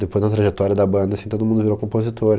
Depois da trajetória da banda, assim, todo mundo virou compositor.